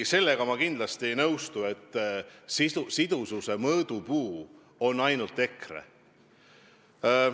Ei, sellega ma kindlasti ei nõustu, et sidususe mõõdupuu on ainult EKRE.